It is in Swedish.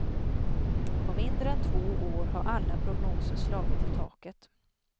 På mindre än två år har alla prognoser slagit i taket.